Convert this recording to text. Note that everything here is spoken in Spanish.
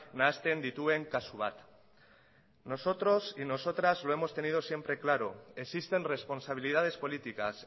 nahasten dituen kasu bat nosotros y nosotras lo hemos tenido siempre claro existen responsabilidades políticas